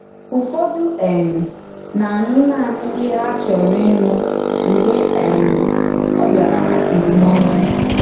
Ụ́fọ̀dù um na-ànụ naanị íhè hà chòrọ̀ ínụ mgbe um ọ bịara n’ndúmòdù.